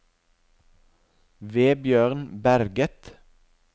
Vebjørn Berget